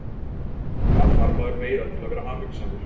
Hvað þarf maður meira til að vera hamingjusamur?